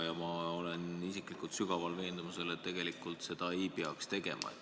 Ja ma olen isiklikult sügaval veendumusel, et seda ei peaks tegema.